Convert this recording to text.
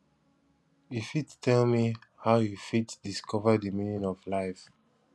you fit tell me how you fit discover di meaning of life